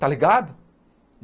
Está ligado?